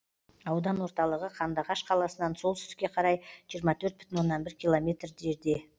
аудан орталығы қандыағаш қаласынан солтүстікке қарай жиырма төрт бүтін оннан бір километр жерде